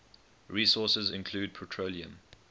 resources include petroleum